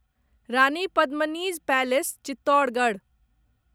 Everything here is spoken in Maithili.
रानी पद्मिनी'ज़ पैलेस चित्तोरगढ